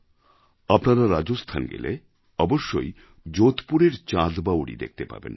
আপনারা রাজস্থান গেলে অবশ্যই যোধপুরের চাঁদ বাউরি দেখতে যাবেন